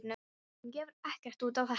Hún gefur ekkert út á þetta.